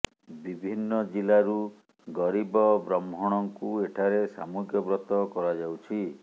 ବିଭିନ୍ନ ଜିଲ୍ଲାରୁ ଗରିବ ବ୍ରହ୍ମଣଙ୍କୁ ଏଠାରେ ସାମୁହିକ ବ୍ରତ କରାଯାଉଛି